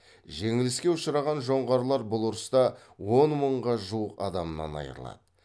жеңіліске ұшыраған жоңғарлар бұл ұрыста он мыңға жуық адамынан айырылады